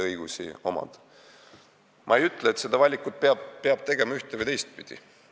Ma ei ütle, et peab tegema ühte- või teistpidi valiku.